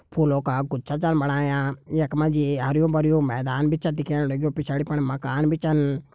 फुलों का गुच्छा छन बणाया यख मा जी हर्युं भर्युं मैदान भी छ दिखेण लग्युंपिछाड़ी फण मकान भी छन |